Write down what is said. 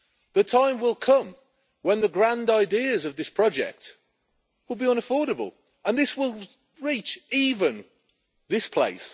The time will come when the grand ideas of this project will be unaffordable, and this will reach even this place.